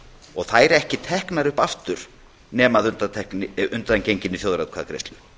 og þær ekki teknar upp aftur nema að undangenginni þjóðaratkvæðagreiðslu